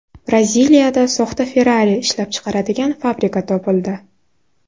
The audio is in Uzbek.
Braziliyada soxta Ferrari ishlab chiqaradigan fabrika topildi.